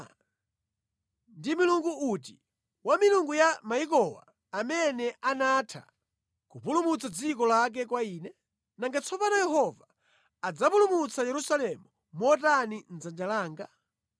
Kodi ndi milungu iti mwa milungu yonse ya mayiko awa amene anapulumutsa dziko lake mʼdzanja langa? Nanga tsono Yehova adzapulumutsa Yerusalemu mʼdzanja langa motani?”